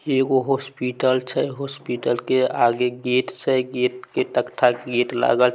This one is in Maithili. ई एगो हॉस्पिटल छै हॉस्पिटल के आगे गेट से गेट के तख्ता के गेट लागल छै।